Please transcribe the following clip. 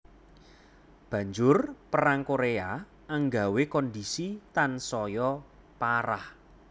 Banjur Perang Koréa anggawé kondhisi tansaya parah